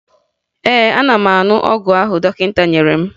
Ee, ana m aṅụ ọgwụ ahụ dọkịta nyere m